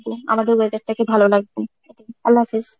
আমাদের weather টাকে ভালো রাখবো, আল্লাহ হাফেজ।